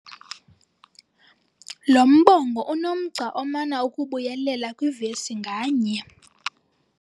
Lo mbongo unomgca omana ukubuyelela kwivesi nganye.